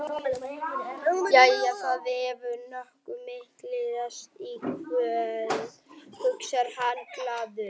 Jæja, það hefur nógu mikið ræst í kvöld, hugsar hann glaður.